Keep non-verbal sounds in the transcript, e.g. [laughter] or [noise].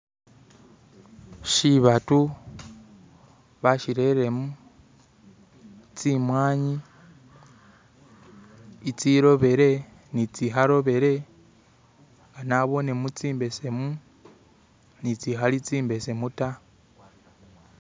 "[skip]" shibatu bashireremo tsimw'ani tsirobile ni tsikharobile nabonemo tsimbesemu ni tsikhale tsimbesemu ta.